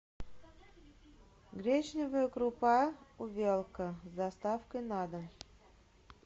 гречневая крупа увелка с доставкой на дом